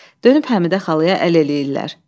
Dönüb Həmidə xalaya əl eləyirlər.